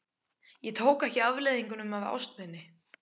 Ég tók ekki afleiðingum af ást minni.